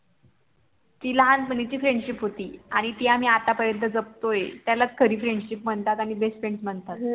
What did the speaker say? ती लहानपणीची FRIENDSHIP होती आणि ती आम्ही आत्ता पर्यंत जपतोय त्यालाच खरी FRIENDSHIP म्हणतात आणि BEST FRIENDS म्हणतात